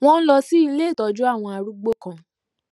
wón lọ sí ilé ìtójú àwọn arúgbó kan